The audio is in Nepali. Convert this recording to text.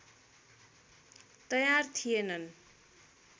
तयार थिएनन्